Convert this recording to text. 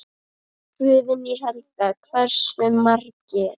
Guðný Helga: Hversu margir?